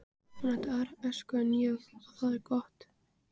Hún átti aðra æsku en ég og það er gott.